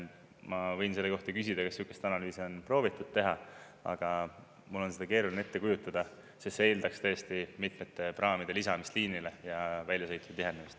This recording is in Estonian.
Ma võin küsida, kas sellist analüüsi on proovitud teha, aga mul on seda keeruline ette kujutada, sest see eeldaks tõesti mitmete praamide lisamist liinile ja väljasõitude tihenemist.